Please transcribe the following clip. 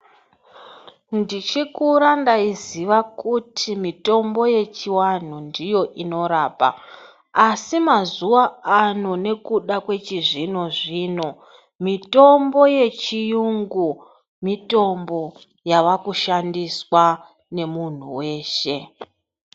Ndichikura ndaiziva kuti mitombo yechivantu ndiyo inorapa , asi mazuvano nekuda kwezvino zvino , mitombo yechiyungu , mitombo yavakushandiswa nemuntu weshe.